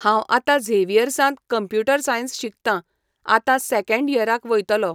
हांव आतां झेवियर्झांत कंप्यूटर सायन्स शिकतां, आतां सँकेंड इयराक वयतलो.